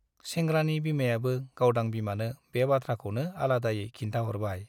सेंग्रानि बिमायाबो गावदां बिमानो बे बाथ्राखौनो आलादायै खिन्थाहरबाय ।